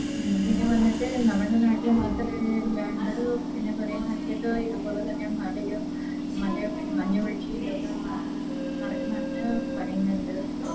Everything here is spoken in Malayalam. പിന്നെ വന്നിട്ട് നമ്മുടെ നാട്ടില് മാത്രേ ഇല്ലാണ്ട് പിന്നെ കൊറേ നാട്ടിലൊക്കെ ഇത്പോലെ തന്നെ മലയും മലയൊക്കെ മഞ്ഞ് വീഴ്ചയും ഇതൊക്കെ നടക്കുന്നെന്ന് പറയുന്നുണ്ട്